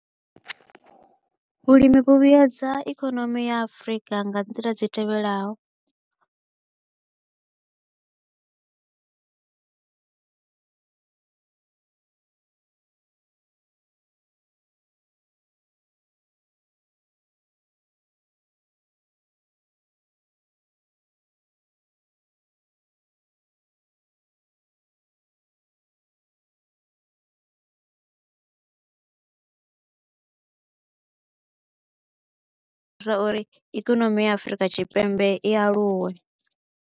Vhulimi vhu vhedza ikonomi ya Afrika nga nḓila dzi tevhelaho uri ikonomi ya Afurika Tshipembe i aluwe.